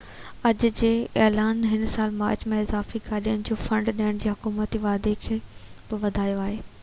اڄ جي اعلان هن سال جي مارچ ۾ اضافي گاڏين جو فنڊ ڏيڻ جي حڪومتي واعدي کي بہ وڌايو آهي